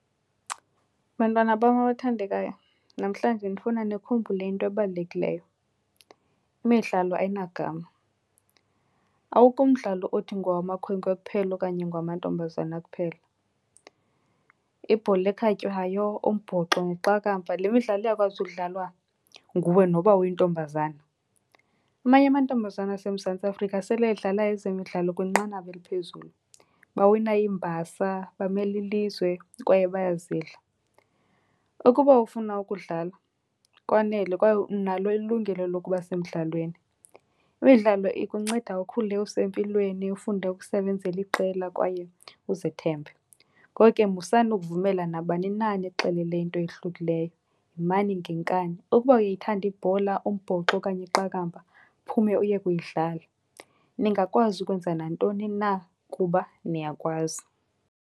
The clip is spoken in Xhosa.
Bantwana bam abathandekayo, namhlanje ndifuna nikhumbule into ebalulekileyo. Imidlalo ayinagama, awukho umdlalo othi ngowamakhwenkwe kuphela okanye ngowamantombazana kuphela. Ibhola ekhatywayo, umbhoxo neqakamba, le midlalo iyakwazi ukudlalwa nguwe noba uyintombazana. Amanye amantombazana aseMzantsi Afrika sele edlala ezemidlalo kwinqanaba eliphezulu. Bawina iimbasa, bamela ilizwe kwaye bayazidla. Ukuba ufuna ukudlala, kwanele kwaye unalo ilungelo lokuba semdlalweni. Imidlalo ikunceda ukhule usempilweni, ufunde ukusebenzela iqela kwaye uzithembe. Ngoko ke musani ukuvumela nabani na anixelele into eyohlukileyo, yimani ngenkani. Ukuba uyayithanda ibhola, umbhoxo okanye iqakamba uphume uye kuyidlala. Ningakwazi ukwenza nantoni na kuba niyakwazi.